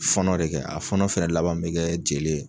Fɔnɔ de kɛ, a fɔnɔ fɛnɛ laban be kɛ jeli ye.